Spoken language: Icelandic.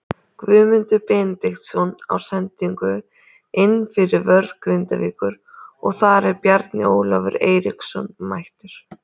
Guðmundur Benediktsson á sendingu inn fyrir vörn Grindavíkur og þar er Bjarni Ólafur Eiríksson mættur.